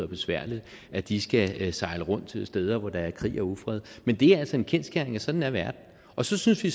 besværligt at de skal sejle rundt steder hvor der er krig og ufred men det er altså en kendsgerning at sådan er verden og så synes vi